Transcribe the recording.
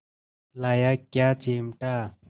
लाया क्या चिमटा